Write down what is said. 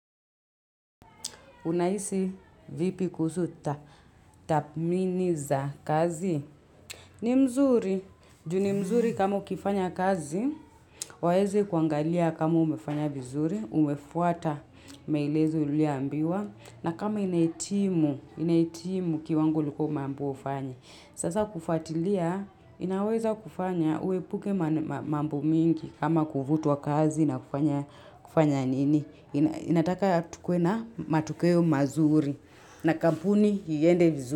Unahisi vipi kuhusu tathimini za kazi? Ni mzuri. Juu ni mzuri kama ukifanya kazi, waweze kuangalia kama umefanya vizuri, umefuata maelezo uliyo ambiwa. Na kama inahitimu, inahitimu kiwango ulikuwa umeambiwa ufanye. Sasa kufatilia, inaweza kufanya uepuke mambo mingi kama kuvutwa kazi na kufanya kufanya nini. Ninataka tukewe na matokeo mazuri na kampuni iende vizuri.